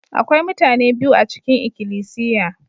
Akwai mutane biyu a cikin ikilisiya.